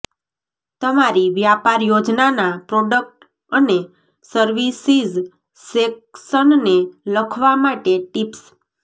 તમારી વ્યાપાર યોજનાના પ્રોડક્ટ અને સર્વિસીઝ સેક્શનને લખવા માટે ટિપ્સ